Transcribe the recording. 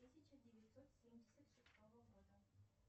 тысяча девятьсот семьдесят шестого года